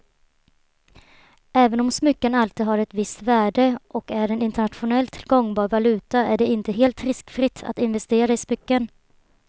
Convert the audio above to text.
Även om smycken alltid har ett visst värde och är en internationellt gångbar valuta är det inte helt riskfritt att investera i smycken.